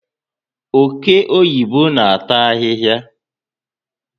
Oke oyibo na ata ahịhịa